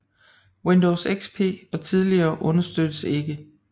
Windows XP og tidligere understøttes ikke